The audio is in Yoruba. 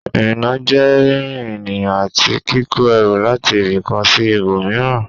Ìrìnnà jẹ́ rírìn ènìyàn àti kíkó ẹrù láti ibì kan sí ibòmíràn